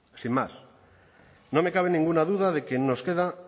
sin más no me cabe ninguna duda de que aún nos quedan